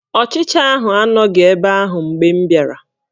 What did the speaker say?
Ọchicha ahụ anọghị ebe ahụ mgbe m bịara